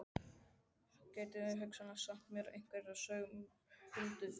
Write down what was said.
Hún gæti hugsanlega sagt mér einhverjar sögur af huldufólki.